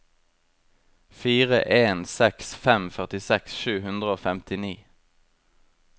fire en seks fem førtiseks sju hundre og femtini